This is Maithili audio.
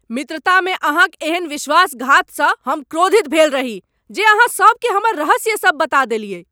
मित्रता में अहाँक एहन विश्वासघात स हम क्रोधित भेल रही जे अहाँ सब के हमर रहस्य सब बता देलियै।